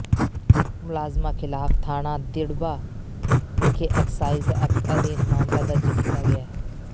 ਮੁਲਜ਼ਮਾਂ ਖ਼ਿਲਾਫ਼ ਥਾਣਾ ਦਿੜ੍ਹਬਾ ਵਿਖੇ ਐਕਸਾਈਜ਼ ਐਕਟ ਅਧੀਨ ਮਾਮਲਾ ਦਰਜ ਕੀਤਾ ਗਿਆ ਹੈ